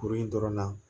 Kuru in dɔrɔn na